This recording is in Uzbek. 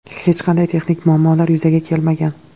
Hech qanday texnik muammolar yuzaga kelmagan.